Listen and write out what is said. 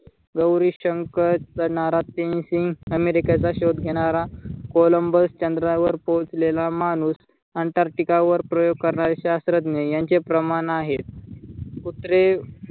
गौरी शंकर चढणारा प्रेम सिंग, अमेरिकेचा शोध घेणारा कोलंबस, चंद्रावर पोहचलेला माणूस, Antarctica वर प्रयोग करणारे शात्रज्ञ, यांचे प्रमाण आहे. कुत्रे